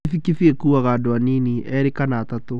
Kibikibi ĩkuaga andũ anini; erĩ kana atatũ.